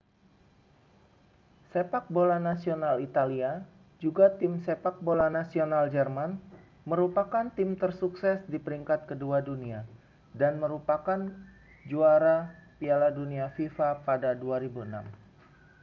sepak bola nasional italia juga tim sepak bola nasional jerman merupakan tim tersukses di peringkat kedua dunia dan merupakan juara piala dunia fifa pada 2006